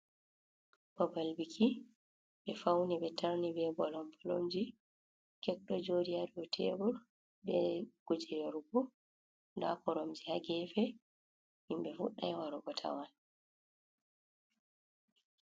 Babal biki, ɓe fauni be tarni be bolom bolomji kek do jodi hadow tebor, be kuje yarugo da koromji hagefe himbe fudai warugo tawan.